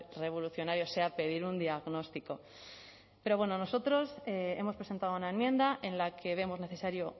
revolucionario sea pedir un diagnóstico pero bueno nosotros hemos presentado una enmienda en la que vemos necesario